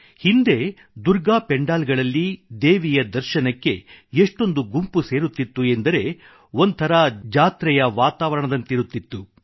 ಹಿಂದೆ ದುರ್ಗಾ ಪೆಂಡಾಲ್ ಗಳಲ್ಲಿ ದೇವಿಯ ದರ್ಶನಕ್ಕೆ ಎಷ್ಟೊಂದು ಗುಂಪು ಸೇರುತ್ತಿತ್ತು ಎಂದರೆ ಒಂಥರಾ ಜಾತ್ರೆಯ ವಾತಾವರಣದಂತಿರುತ್ತಿತ್ತು